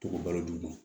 To k'o balo d'u ma